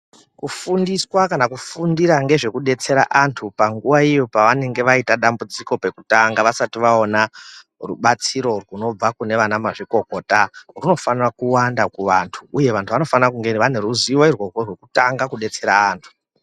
Kufundiswa kana kufundira ngezve kudetsera antu panguwa iyo yavanenge vaita dambudziko pekutanga vasati vaona rubatsiro runobva kunana mazvikokota runofanira kuwanda kuvantu uye vantu vanofana kunge vane ruzivo irworwo rwekutanga kudetsera antu.